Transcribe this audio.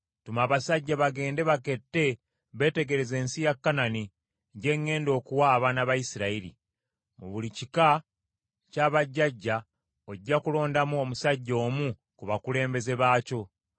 “Tuma abasajja bagende bakette beetegereze ensi ya Kanani gye ŋŋenda okuwa abaana ba Isirayiri. Mu buli kika kya bajjajja ojja kulondamu omusajja omu ku bakulembeze baakyo.”